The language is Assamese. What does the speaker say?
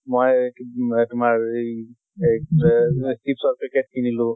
মই উম তোমাৰ এই এই chips ৰ packet কিনিলো